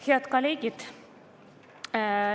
Head kolleegid!